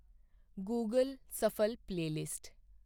Google shuffle playlist